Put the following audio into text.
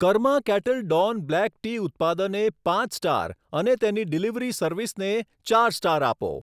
Karma Kettle Don black tea ઉત્પાદને પાંચ star અને તેની ડિલિવરી સર્વિસને ચાર સ્ટાર આપો.